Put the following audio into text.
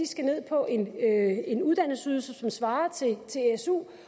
skal ned på en uddannelsesydelse som svarer til su